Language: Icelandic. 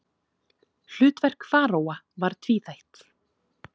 Hlutverk faraóa var tvíþætt.